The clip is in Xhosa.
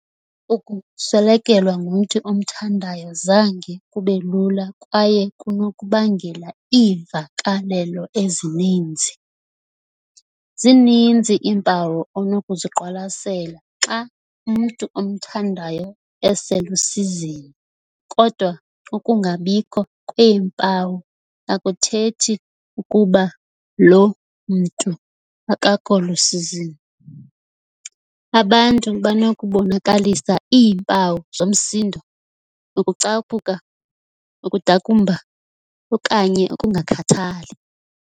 Ukuswelekelwa ngumntu omthandayo zange kube lula kwaye kunokubangela iimvakalelo ezininzi. "Zininzi iimpawu onokuziqwalasela xa umntu omthandayo eselusizini, kodwa ukungabikho kweempawu akuthethi ukuba loo mntu akakho lusizini."Abantu banokubonakalisa iimpawu zomsindo, ukucaphuka, ukudakumba okanye ukungakhathali."